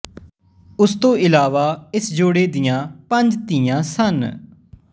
ਉਸ ਤੋਂ ਇਲਾਵਾ ਇਸ ਜੋੜੇ ਦੀਆਂ ਪੰਜ ਧੀਆਂ ਸਨ